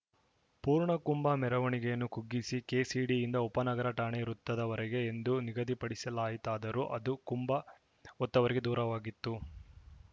ಪೂರ್ಣಕುಂಭ ಮೆರವಣಿಗೆಯನ್ನು ಕುಗ್ಗಿಸಿ ಕೆಸಿಡಿಯಿಂದ ಉಪನಗರ ಠಾಣೆ ವೃತ್ತದವರೆಗೆ ಎಂದು ನಿಗದಿ ಮಾಡಲಾಯಿತಾದರೂ ಅದೂ ಕುಂಭ ಹೊತ್ತವರಿಗೆ ದೂರವಾಗಿತ್ತು